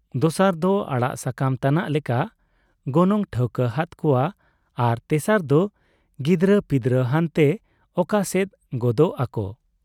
ᱫᱚᱥᱟᱨ ᱫᱚ ᱟᱲᱟᱜ ᱥᱟᱠᱟᱢ ᱛᱟᱱᱟᱜ ᱞᱮᱠᱟ ᱜᱚᱱᱚᱝ ᱴᱷᱟᱹᱣᱠᱟᱹ ᱦᱟᱫ ᱠᱚᱣᱟ ᱟᱨ ᱛᱮᱥᱟᱨ ᱫᱚ ᱜᱤᱫᱽᱨᱟᱹᱯᱤᱫᱽᱨᱟᱹ ᱦᱟᱱᱛᱮ ᱚᱠᱟ ᱥᱮᱫ ᱜᱚᱫᱚᱜ ᱟᱠᱚ ?